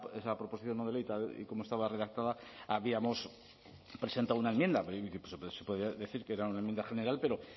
esa proposición no de ley tal y como estaba redactada habíamos presentado una enmienda pero se podía decir que era una enmienda general pero